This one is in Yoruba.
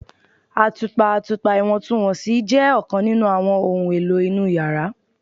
Atupa atupa iwọntunwọnsi jẹ ọkan ninu awọn ohun elo inu yara